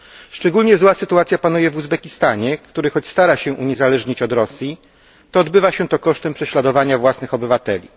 Szczególnie zła sytuacja panuje w Uzbekistanie, który choć stara się uniezależnić od Rosji, czyni to kosztem prześladowania własnych obywateli.